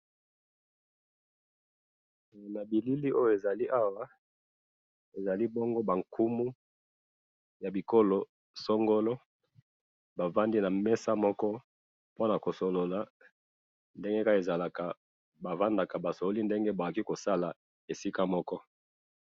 Oyo ezali ba nkumu ya bisika songolo, bafandi bazo solola.